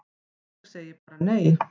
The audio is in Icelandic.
Ég segi bara nei!